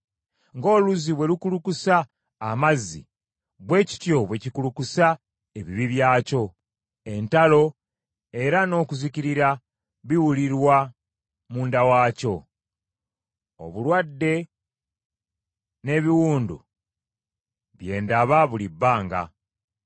Ng’oluzzi bwe lukulukusa amazzi, bwe kityo bwe kikulukusa ebibi byakyo, entalo era n’okuzikirira biwulirwa munda waakyo. Obulwadde n’ebiwundu bye ndaba buli bbanga.